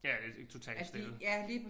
Ja det totalt stille